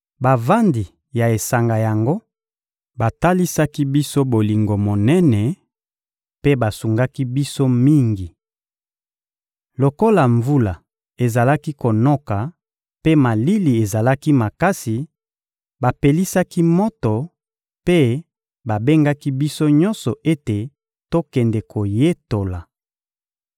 Bavandi ya esanga yango batalisaki biso bolingo monene mpe basungaki biso mingi. Lokola mvula ezalaki konoka mpe malili ezalaki makasi, bapelisaki moto mpe babengaki biso nyonso ete tokende koyetola.